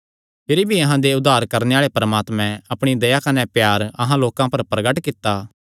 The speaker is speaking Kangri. अपर फिरी भी अहां दे उद्धार करणे आल़े परमात्मे अपणी दया कने प्यार अहां लोकां पर प्रगट कित्ता